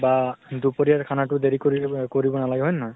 বা দুপৰিয়াৰ খানাটো দেৰি কৰি কৰিব নালাগে হয় নে নহয়?